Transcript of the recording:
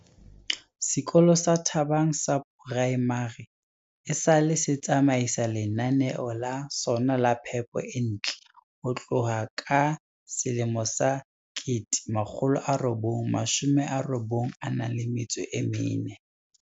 Sekolo sa Thabang Primary esale se tsamaisa lenaneo la sona la phepo e ntle ho tloha ka 1994.